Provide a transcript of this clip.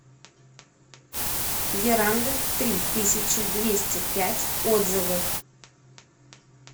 веранда три тысячи двести пять отзывы